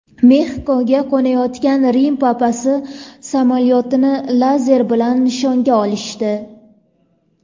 Mexikoga qo‘nayotgan Rim papasi samolyotini lazer bilan nishonga olishdi.